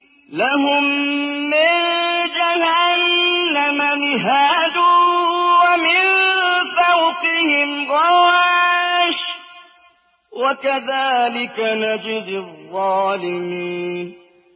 لَهُم مِّن جَهَنَّمَ مِهَادٌ وَمِن فَوْقِهِمْ غَوَاشٍ ۚ وَكَذَٰلِكَ نَجْزِي الظَّالِمِينَ